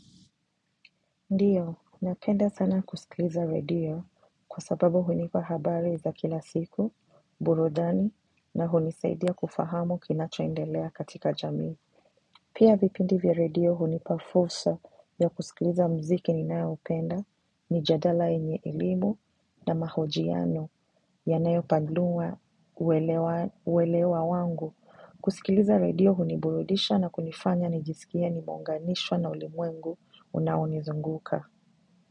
Ndio, napenda sana kusikiliza redio kwa sababu hunipa habari za kila siku, burudani na hunisaidia kufahamu kinacho endelea katika jamii. Pia vipindi vya radio hunipa fursa ya kusikiliza mziki ninayo upenda mijadala yenye elimu na mahojiano yanayo panua uwelewa wangu. Kusikiliza redio huniburudisha na kunifanya nijiskie nimeunganishwa na ulimwengu unaonizunguka.